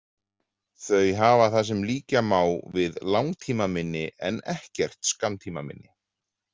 Þau hafa það sem líkja má við langtímaminni en ekkert skammtímaminni.